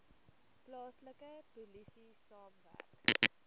plaaslike polisie saamwerk